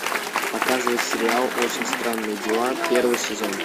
показывай сериал очень странные дела первый сезон